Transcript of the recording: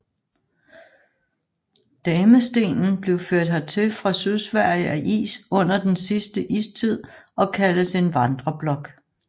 Damestenen blev ført hertil fra Sydsverige af is under den sidste istid og kaldes en vandreblok